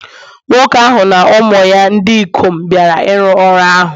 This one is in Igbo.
Nwoke ahụ na ụmụ ya ndị ikom bịara ịrụ ọrụ ahụ